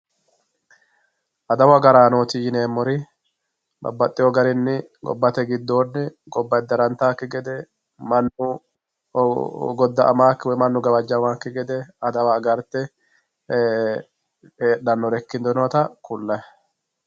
Adawu agaranoti yineemori babaxiwo garinni gobbate gidonni gobba edderantakki gede manu goda'amakki woyi gawajamakki gede adawa agarite heedhanore ikkitinotta kulayi